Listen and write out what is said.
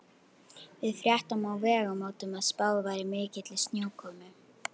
Við fréttum á Vegamótum að spáð væri mikilli snjókomu.